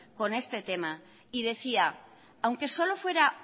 con este tema y decía aunque solo fuera